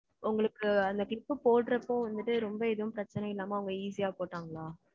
உங்களுக்கு அந்த clip போடுறப்போ வந்துட்டு, ரொம்ப எதுவும் பிரச்சனை இல்லாம, அவங்க easy யா போட்டாங்களா?